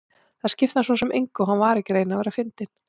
Það skipti hann svo sem engu og hann var ekki að reyna að vera fyndinn.